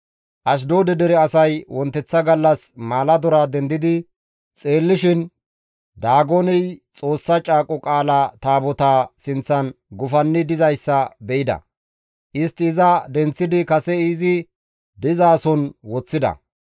Ashdoode dere asay wonteththa gallas maaladora dendidi xeellishin Daagoney Xoossa Caaqo Qaala Taabotaa sinththan gufanni dizayssa be7ida; istti iza denththidi kase izi dizason woththida.